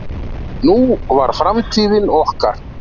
Nú var framtíðin okkar.